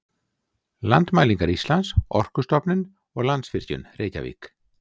Landmælingar Íslands, Orkustofnun og Landsvirkjun, Reykjavík.